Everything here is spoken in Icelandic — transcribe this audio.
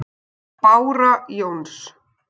Bára Jóns.